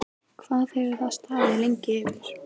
Hvað hefur það staðið lengi yfir?